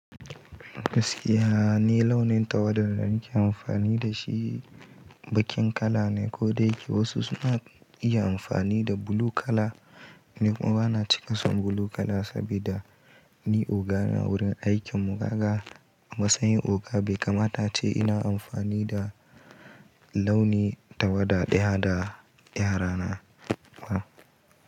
Gaskiya ni launin tawada da nake amfani da shi baƙin kala ne, ko da yake wasu suna iya amfani da blue kala. Ni kuma bana cika son blue kala saboda ni ogana wurin aikin mu gaga. Amma sanyin oga bai kamata ce ina amfani da launi tawada daya da yara na ba.